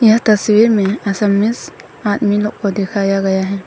यह तस्वीर में आदमी लोग को दिखाया गया है।